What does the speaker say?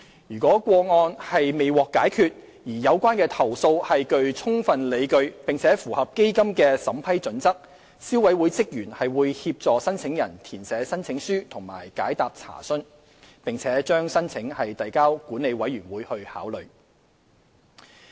如個案未獲解決，而有關投訴具充分理據並符合基金的審批準則，消委會職員會協助申請人填寫申請書及解答查詢，並把申請遞交管理委員會考慮。